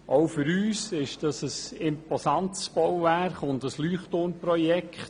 Auch für uns ist das ein imposantes Bauwerk und ein Leuchtturm-Projekt.